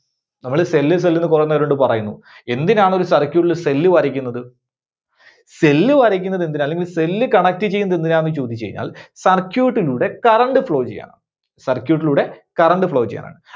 നമ്മള് cell, cell ന്ന് കുറെ നേരമായിട്ട് പറയുന്നു. എന്തിനാണ് ഒരു circuit ല് cell വരക്കുന്നത്? cell വരക്കുന്നത് എന്തിനാ? അല്ലെങ്കിൽ cell connect ചെയ്യുന്നത് എന്തിനാന്ന് ചോദിച്ചു കഴിഞ്ഞാൽ, circuit ലൂടെ current flow ചെയ്യാനാണ്. circuit ലൂടെ current flow ചെയ്യാനാണ്.